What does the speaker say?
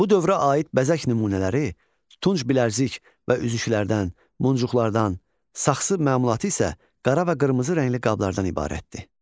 Bu dövrə aid bəzək nümunələri, tunç bilərzik və üzüklərdən, muncuqqlardan, saxsı məmulatı isə qara və qırmızı rəngli qablardan ibarətdir.